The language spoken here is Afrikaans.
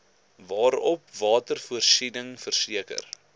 waarop watervoorsiening verseker